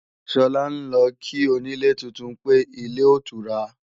Sọlá ń lọ kí onílé tuntun pé, ilé otura